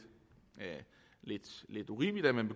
lidt urimeligt at man